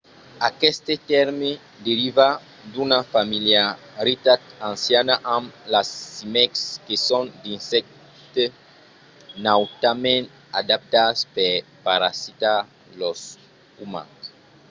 aqueste tèrme deriva d'una familiaritat anciana amb las címecs que son d’insèctes nautament adaptats per parasitar los umans